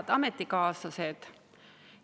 Head ametikaaslased!